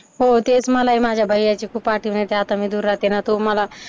हो तेच मलाही माझ्या भैय्याची खूप आठवण येते, आता मी दूर राहते ना तो मला